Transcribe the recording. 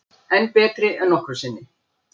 Enn betri en nokkru sinni